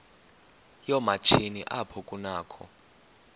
yoomatshini apho kunakho